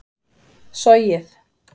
sogið